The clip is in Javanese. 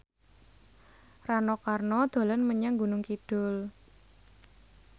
Rano Karno dolan menyang Gunung Kidul